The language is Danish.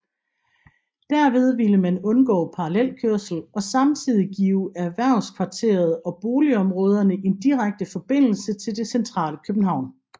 Derved ville man undgå parallelkørsel og samtidig give erhvervskvarteret og boligområderne en direkte forbindelse til det centrale København